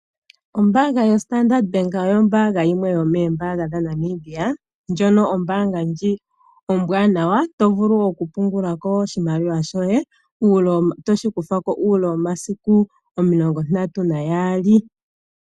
Ombaanga yoStandard Bank oyo ombaanga yimwe yomoombaanga dhaNamibia ndjono ombwaanawa, tovulu okupungulako oshimaliwa shoye, toshi kuthako uule womasiku 32.